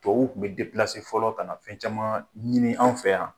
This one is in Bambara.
Tuwawu tun bɛ fɔlɔ ka na fɛn caman ɲini, an fɛ yan.